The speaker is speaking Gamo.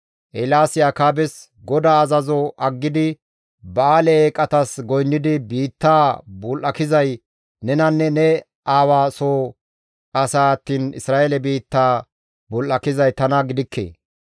Eelaasi Akaabes, «GODAA azazo aggidi Ba7aale eeqatas goynnidi biittaa bul7akizay nenanne ne aawaa soo asaa attiin Isra7eele biittaa bul7akizay tana gidikke.